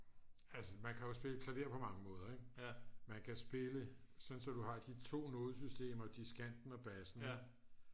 altså man kan jo spille klaver på mange måder ik man kan spille sådan så du har de 2 nodesystemer diskanten og bassen ik